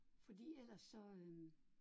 Fordi eller så øh